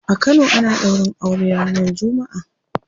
A kano ana daurin aure ranar jumma'a.